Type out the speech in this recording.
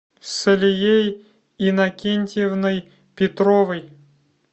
салией иннокентьевной петровой